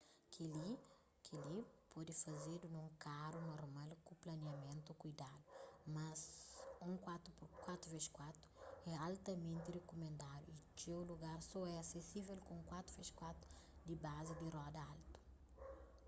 kel-li pode fazedu nun karu normal ku planiamentu kuidadu mas un 4x4 é altamenti rikumendadu y txeu lugar só é asesível ku un 4x4 di bazi di roda altu